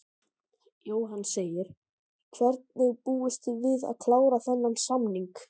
Jóhann: Hvenær búist þið við að klára þennan samning?